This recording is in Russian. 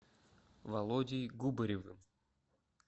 володей губаревым